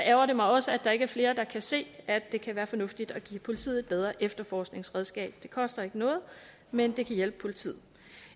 ærgrer det mig også at der ikke er flere der kan se at det kan være fornuftigt at give politiet et bedre efterforskningsredskab det koster ikke noget men det kan hjælpe politiet